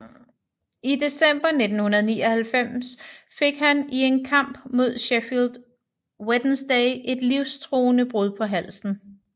I december 1999 fik han i en kamp mod Sheffield Wednesday et livstruende brud på halsen